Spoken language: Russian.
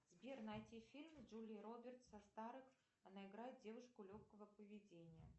сбер найти фильм с джулией робертс со старых она играет девушку легкого поведения